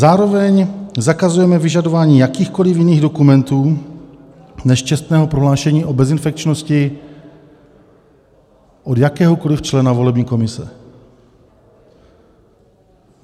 Zároveň zakazujeme vyžadování jakýchkoliv jiných dokumentů než čestného prohlášení o bezinfekčnosti od jakéhokoliv člena volební komise.